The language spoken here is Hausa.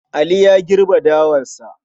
Ali ya girbe dawarsa.